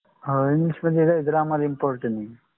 हो english म्हणजे काय grammar important आहे.